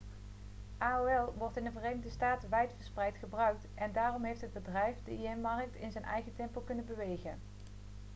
aol wordt in de verenigde staten wijdverspreid gebruikt en daarom heeft het bedrijf de im-markt in zijn eigen tempo kunnen bewegen